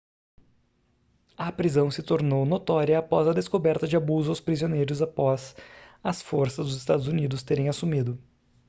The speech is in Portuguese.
a prisão se tornou notória após a descoberta de abuso aos prisioneiros após as forças dos estados unidos terem assumido